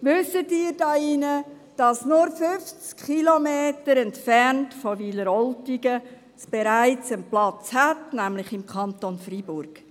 Wissen Sie hier im Saal, dass es bloss 50 Kilometer entfernt von Wileroltigen bereits einen Platz hat, nämlich im Kanton Freiburg?